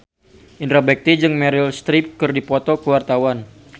Indra Bekti jeung Meryl Streep keur dipoto ku wartawan